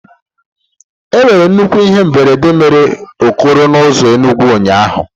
Enwere nnukwu ihe mberede mere okoro na ụzọ Enugwu ụnyahụ.